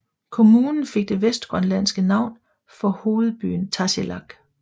Kommunen fik det vestgrønlandske navn for hovedbyen Tasiilaq